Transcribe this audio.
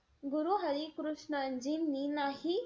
गुरु हरी कृष्णजींनी नाही,